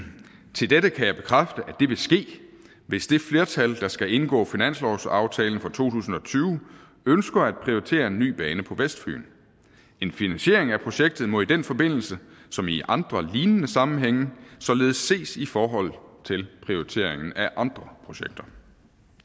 til dette kan jeg bekræfte at det vil ske hvis det flertal der skal indgå finanslovsaftalen for to tusind og tyve ønsker at prioritere en ny bane på vestfyn en finansiering af projektet må i den forbindelse som i andre lignende sammenhænge således ses i forhold til prioriteringen af andre projekter